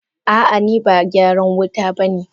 Ah ah niba Megyaran wuta bane.